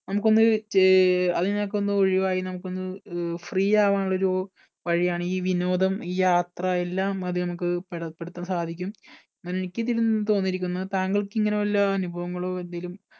നമുക്ക് ചെ ഒന്ന് അതിനകത്ത് ഒന്ന് ഒഴിവായി നമുക്ക് ഒന്നും free ആവാനുള്ള ഒരു വഴിയാണ് ഈ വിനോദം ഈ യാത്ര എല്ലാം അതിൽ നമുക്ക് പെ പെടുത്താൻ സാധിക്കും. എനിക്ക് ഇതിൽ നിന്നും തോന്നിയിരിക്കുന്നത് താങ്കൾക്ക് ഇങ്ങനെ വല്ല അനുഭവങ്ങളോ എന്തെല്ലും